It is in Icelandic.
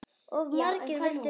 Of margir vildu ráða.